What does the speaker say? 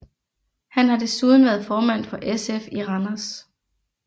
Han har desuden været formand for SF i Randers